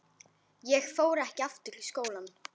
Ég fór ekki aftur í skólann.